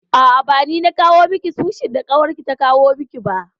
A'a, ba ni na cinye miki sushi da ƙawarki ta kawo miki ba.